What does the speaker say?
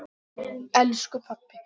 Elsku pabbi.